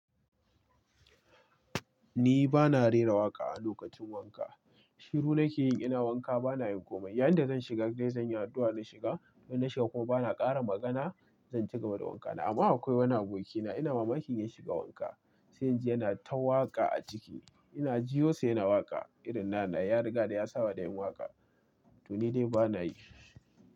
Ni bana rera waƙa a lokacin wanka. Shiru nake yi, ina wanka bana yin komai. Yanda zan shiga gareji zan yi addu'a na shiga, idan na shiga kuma bana ƙara magana, zan cigaba da wanka na. Amma akwai wani abokina, ina mamakin yayi shiga wanka, sai ji yana ta waƙa a ciki. Ina ji yosa yana waƙa irin na'ana, ya riga da ya saba da yin waƙa to ni dai bana yi.